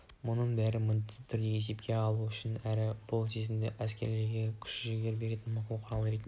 мұның бәрін міндетті түрде есепке алу үшін әрі бұл сезімді әскерлерге күш-жігер беретін мықты құрал ретінде